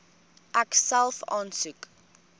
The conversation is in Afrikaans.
ek self aansoek